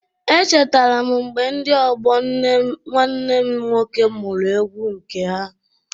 E chetara m mgbe ndị ọgbọ nwanne m nwoke mụrụ egwu nke ha.